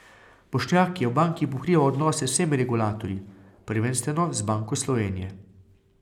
Bošnjak je v banki pokrival odnose z vsemi regulatorji, prvenstveno z Banko Slovenije.